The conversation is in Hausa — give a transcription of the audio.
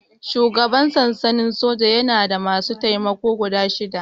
Shugaban sansanin soja yana da masu taimako guda shida